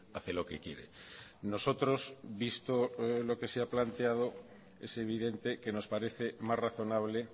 hace lo que quiere nosotros visto lo que se ha planteado es evidente que nos parece más razonable